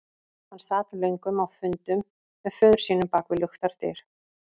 Hann sat löngum á fundum með föður sínum bak við luktar dyr.